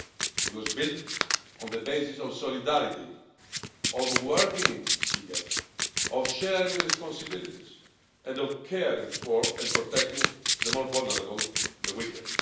It was built on the basis of solidarity, of working together, of sharing responsibilities and of caring for and protecting the more vulnerable and weaker.